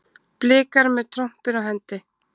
Blikar með trompin á hendi